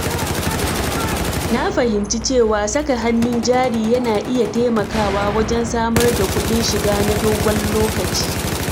Na fahimci cewa saka hannun jari yana iya taimakawa wajen samar da kuɗin shiga na dogon lokaci.